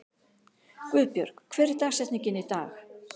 Guðbjörg, hver er dagsetningin í dag?